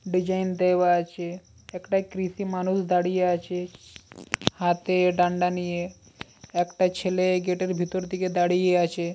Design দেওয়া আছে একটা কৃষি মানুষ দাঁড়িয়ে আছে হাতে ডান্ডা নিয়ে । একটা ছেলে গেট -এর ভেতর দিকে দাঁড়িয়ে আছে ।